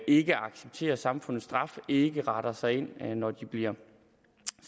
ikke accepterer samfundets straf og ikke retter sig ind når de bliver